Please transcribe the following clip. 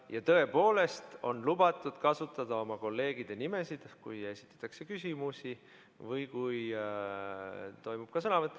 Ja tõepoolest on lubatud kasutada oma kolleegide nimesid, kui esitatakse küsimusi või kui toimub ka sõnavõtt.